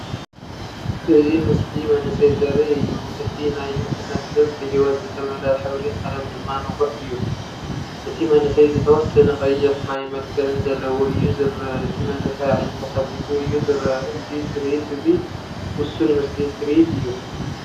እዚ ምስሊ መንእሰይ ዘርኢ እዩ። እቲ ናይ ንእስነት ገጽ ብህይወት ዝተመልአ ሕብሪ ቀለም ድማ ንቑሕ እዩ። እቲ መንእሰይ ዝተወሰነ ቀይሕ ማይ መልክዕን ዘለዎ እዩ ዝረአ። እቲ መንእሰይ ኣዒንቱ ከፊቱ እዩ ዝረአ፣ እዚ ትርኢት እዚ ውሱን ምስሊ ትርኢት እዩ።